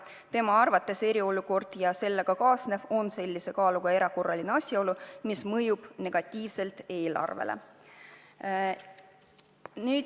Tema arvates eriolukord ja sellega kaasnev on sellise kaaluga erakorraline asjaolu, mis mõjub negatiivselt eelarvele.